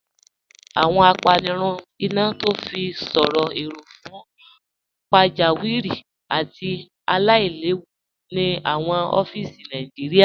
Awọn àpànirùn iná tó fi sọ̀rọ̀ èró̀ fún pàjàwìrí àti àìlẹ̀wù ni awọn ọfíìsì Nàìjíríà.